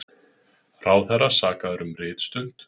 Ráðherra sakaður um ritstuld